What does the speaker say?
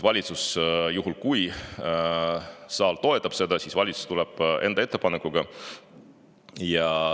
Valitsus, juhul kui saal toetab seda, tuleb enda ettepanekuga.